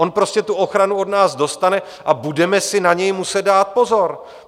On prostě tu ochranu od nás dostane a budeme si na něj muset dát pozor.